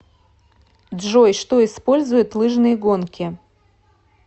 джой что использует лыжные гонки